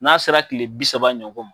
N'a sera kile bi saba ɲɔgɔn ma